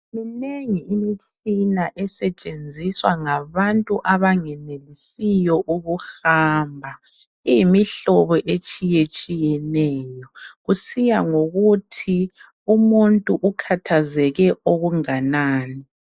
Minengi imitshina esetshenziswa ngabantu abanganenelisiyo ukuhamba , iyimihlobohlobo etshiyetshiyeneyo kusiya ngokuthi umuntu ukhathazeke okunganani